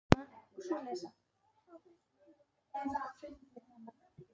Ég hef fundið hana.